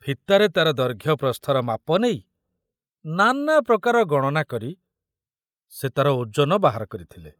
ଫିତାରେ ତାର ଦୈର୍ଘ୍ୟ ପ୍ରସ୍ତୁର ମାପ ନେଇ ନାନାପ୍ରକାର ଗଣନା କରି ସେ ତାର ଓଜନ ବାହାର କରିଥିଲେ।